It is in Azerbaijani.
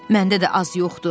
Məndə də az yoxdur.